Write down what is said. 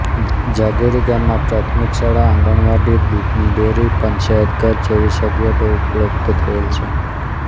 જાગીરી ગામમાં પ્રાથમિક શાળા આંગણવાડી દૂધની ડેરી પંચાયતઘર જેવી સગવડો ઉપલબ્ધ થયેલ છે